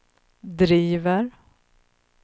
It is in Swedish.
driver